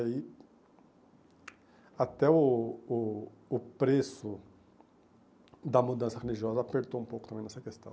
aí Até o o o preço da mudança religiosa apertou um pouco também nessa questão.